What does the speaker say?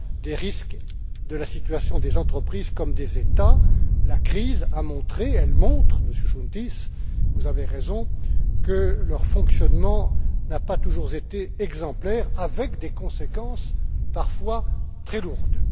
des risques de la situation des entreprises comme des États. La crise a montré, elle montre, Monsieur Chountis, vous avez raison, que leur fonctionnement n'a pas toujours été exemplaire, avec des conséquences parfois très lourdes.